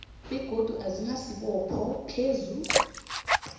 begodu asinasibopho phezu